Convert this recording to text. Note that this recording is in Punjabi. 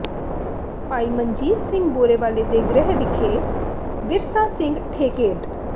ਭਾਈ ਮਨਜੀਤ ਸਿੰਘ ਬੋਰਾਵਾਲੇ ਦੇ ਗ੍ਰਹਿ ਵਿਖੇ ਵਿਰਸਾ ਸਿੰਘ ਠੇਕੇਦ